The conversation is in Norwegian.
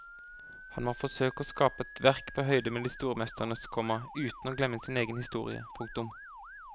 Han må forsøke å skape et verk på høyde med de store mesternes, komma uten å glemme sin egen historie. punktum